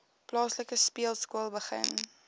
plaaslike speelskool begin